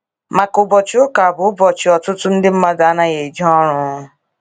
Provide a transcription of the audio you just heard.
Maka ụbọchi ụka bụ ụbochi ọtụtụ ndi mmadụ anaghi eje ọrụ